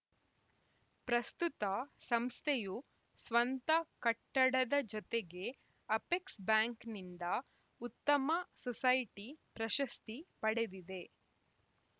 ಪ್ರಸ್ತುತ ಸಂಸ್ಥೆಯು ಸ್ವಂತ ಕಟ್ಟಡದ ಜೊತೆಗೆ ಅಪೆಕ್ಸ್‌ ಬ್ಯಾಂಕ್‌ನಿಂದ ಉತ್ತಮ ಸೊಸೈಟಿ ಪ್ರಶಸ್ತಿ ಪಡೆದಿದೆ